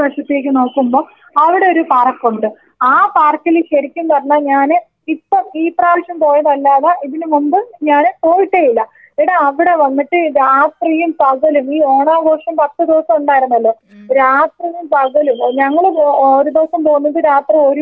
അവിടൊരു പാർക്കുണ്ട് ആ പാർക്കില് ശരിക്കും പറഞ്ഞാ ഞാന് ഇപ്പോ ഈ പ്രാവശ്യം പോയതല്ലാതെ ഇതിനു മുമ്പ് ഞാന് പോയിട്ടേ ഇല്ല എടാ അവിടെ വന്നിട്ട് രാത്രിയും പകലും ഈ ഓണാഘോഷം പത്ത് ദിവസമുണ്ടായിരുന്നല്ലോ രാത്രിയും പകലും ഏ ഞങ്ങള് ഏ ഒരു ദിവസം പോന്നത് രാത്രി ഒരു മണിക്കെങ്ങാണ്ടാണെന്ന് തോന്നുന്നു.